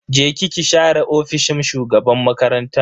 Je ki ki share ofishin shugaban makarantan.